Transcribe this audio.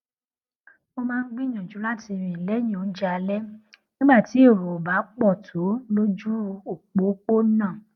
mo máa ń gbìyànjú láti rìn léyìn oúnjẹ alé nígbà tí èrò ò bá pò tó lójú òpópónà